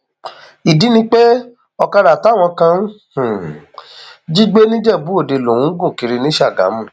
ìdí ni um pé ọkadà táwọn kan um jí gbé nìjẹbùòde lòun ń gùn kiri ní ṣàgámù